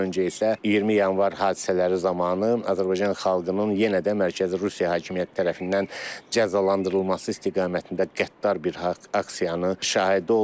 Ondan öncə isə 20 yanvar hadisələri zamanı Azərbaycan xalqının yenə də mərkəzi Rusiya hakimiyyəti tərəfindən cəzalandırılması istiqamətində qəddar bir aksiyanın şahidi olduq.